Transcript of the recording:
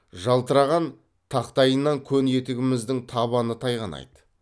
жалтыраған тақтайынан көн етігіміздің табаны тайғанайды